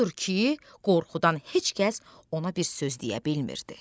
Odur ki, qorxudan heç kəs ona bir söz deyə bilmirdi.